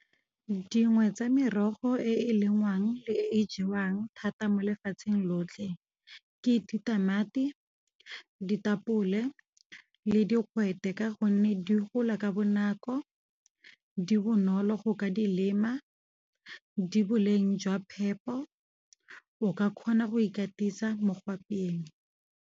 Dingwe tsa merogo e e lengwang le e jewang thata mo lefatsheng lotlhe. Ke ditamati, ditapole, le digwete. Ka go nne di gola ka bonako di bonolo go ka di lema, di boleng jwa phepo o ka kgona go ikatisa mo go apeyeng.